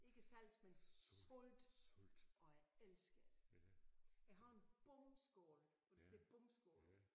Ikke salt men salt og jeg elsker det. Jeg har en bomskål hvor der står bomskål